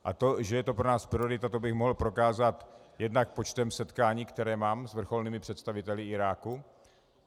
A to, že je to pro nás priorita, to bych mohl prokázat jednak počtem setkání, která mám s vrcholnými představiteli Iráku.